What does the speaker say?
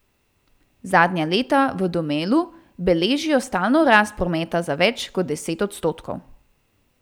Zadnja leta v Domelu beležijo stalno rast prometa za več kot deset odstotkov.